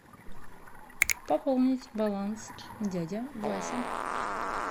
пополнить баланс дядя вася